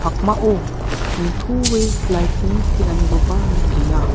pakmao nitoe light-ni tenganikoba nikenga.